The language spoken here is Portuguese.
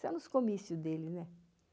Só nos comícios dele, né?